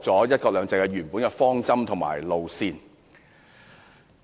"一國兩制"原本的方針和路線已被扭曲。